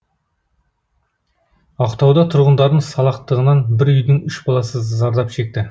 ақтауда тұрғындардың салақтығынан бір үйдің үш баласы зардап шекті